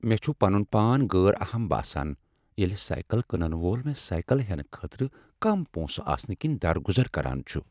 مےٚ چھ پنن پان غٲر اہم باسان ییٚلہ سایکل کٕنن وول مےٚ سایکل ہٮ۪نہٕ خٲطرٕ کم پونٛسہٕ آسنہٕ کِنۍ درگُزر كران چھُ ۔